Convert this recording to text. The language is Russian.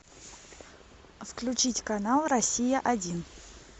включить канал россия один